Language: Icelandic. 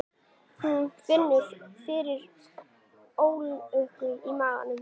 Hún finnur fyrir ólgu í maganum.